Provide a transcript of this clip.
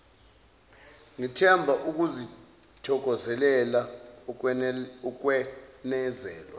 ngithemba uzokuthokozela ukwenezelwa